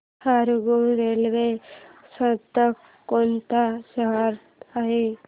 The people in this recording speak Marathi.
हरंगुळ रेल्वे स्थानक कोणत्या शहरात आहे